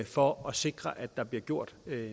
for at sikre at der bliver gjort